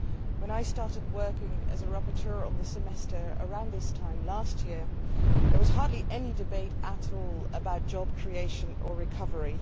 When I started working as a rapporteur on the Semester, around this time last year, there was hardly any debate at all about job creation or recovery.